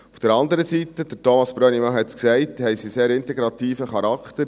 Auf der anderen Seite – Thomas Brönnimann hat es gesagt – haben sie sehr integrativen Charakter.